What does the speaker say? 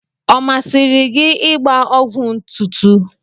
Ọ masịrị gị ịgba ọgwụ ntụtụ?